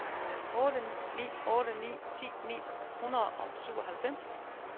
otte ni otte ni ti ni hundrede og syvoghalvfems